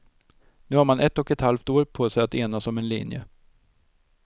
Nu har man ett och ett halvt år på sig att enas om en linje.